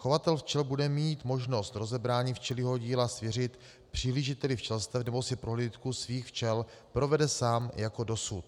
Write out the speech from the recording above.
Chovatel včel bude mít možnost rozebrání včelího díla svěřit prohlížiteli včelstev, nebo si prohlídku svých včel provede sám jako dosud.